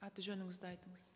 аты жөніңізді айтыңыз